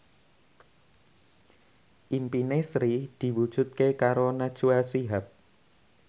impine Sri diwujudke karo Najwa Shihab